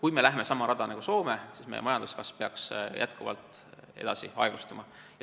Kui me lähme sama rada nagu Soome, siis ka meie majanduskasv peaks jätkuvalt aeglustuma.